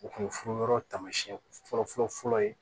O kun ye furu yɔrɔ taamasiyɛn fɔlɔ fɔlɔ fɔlɔ ye